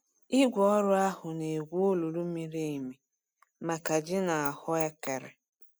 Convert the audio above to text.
Igwe ọrụ ahụ na-egwu olulu miri emi maka ji na ahuekere.